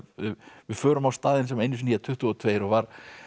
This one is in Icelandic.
við förum á staðinn sem einu sinni hét tuttugu og tvö og var